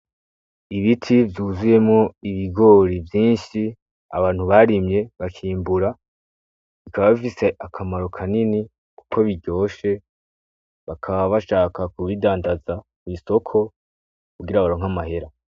Ibiti vyuzuyemwo ibigori vyinshi abantu barimye bakimbura bikaba bifise akamaro kanini, kuko biryoshe bakaba bashaka kubidandaza kw'isoko kugira baronka amahera.